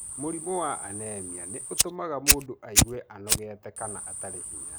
Mũrimũ wa anemia nĩ ũtũmaga mũndũ aigue anogete kana atarĩ hinya.